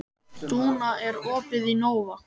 Dúnna, er opið í Nova?